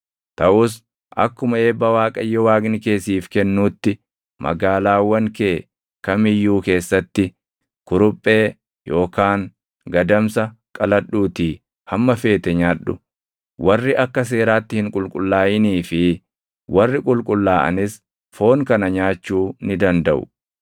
Taʼus akkuma eebba Waaqayyo Waaqni kee siif kennuutti, magaalaawwan kee kam iyyuu keessatti kuruphee yookaan gadamsa qaladhuutii hamma feete nyaadhu; warri akka seeraatti hin qulqullaaʼinii fi warri qulqullaaʼanis foon kana nyaachuu ni dandaʼu.